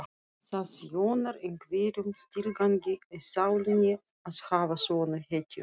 Það þjónar einhverjum tilgangi í sálinni að hafa svona hetjur.